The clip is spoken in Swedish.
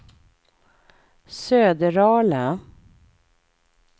Söderala